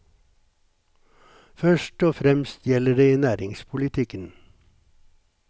Først og fremst gjelder det i næringspolitikken.